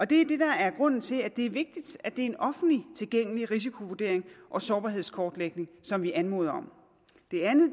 det er det der er grunden til at det er vigtigt at det er en offentligt tilgængelig risikovurdering og sårbarhedskortlægning som vi anmoder om